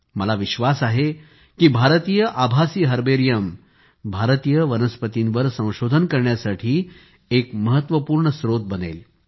मला विश्वास आहे की भारतीय आभासी हर्बेरियम भारतीय वनस्पतींवर संशोधन करण्यासाठी एक महत्वपूर्ण स्रोत बनेल